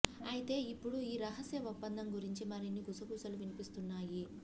అయితే ఇప్పుడు ఈ రహస్య ఒప్పందం గురించి మరిన్ని గుసగుసలు వినిపిస్తున్నాయి